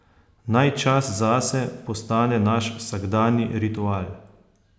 Naj čas zase postane naš vsakdanji ritual.